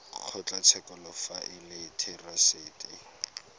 kgotlatshekelo fa e le therasete